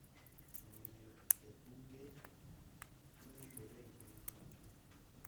Omiyo, e buge ma yudore e mbui mag tudruok,